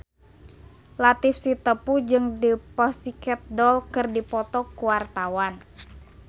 Latief Sitepu jeung The Pussycat Dolls keur dipoto ku wartawan